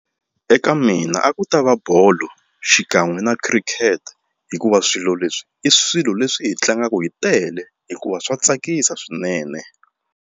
Eka mina a ku ta va bolo xikan'we na khirikete hikuva swilo leswi i swilo leswi hi tlangaka hi tele hikuva swa tsakisa swinene.